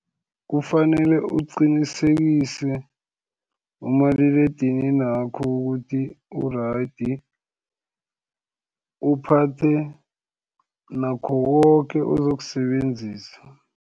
Kufanele uqinisekise umaliledininakho, ukuthi u-right, uphathe nakho koke ozokusebenzisa.